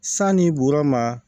Sani woroma